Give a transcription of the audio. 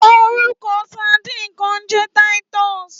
Órúkò sàdín kàn n jè titus